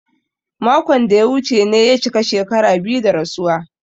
Makon da ya wuce ne ya cika shekaru biyu da rasuwa.